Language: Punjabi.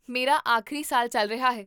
ਮੇਰਾ ਆਖਰੀ ਸਾਲ ਚੱਲ ਰਿਹਾ ਹੈ